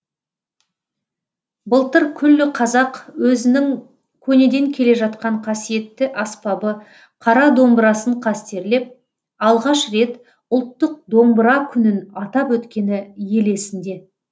былтыр күллі қазақ өзінің көнеден келе жатқан қасиетті аспабы қара домбырасын қастерлеп алғаш рет ұлттық домбыра күнін атап өткені ел есінде